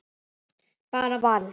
Bara vald.